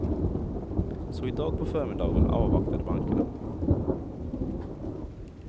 Så idag på förmiddagen avvaktade bankerna.